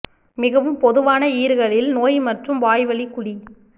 மிகவும் பொதுவான ஈறுகளில் நோய் மற்றும் வாய்வழி குழி